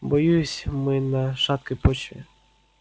боюсь мы на шаткой почве